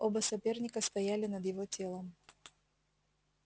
оба соперника стояли над его телом